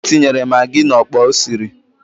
O tinyere magị n'ọkpa o siri